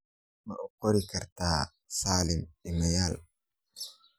ma u qori karta salim iimayl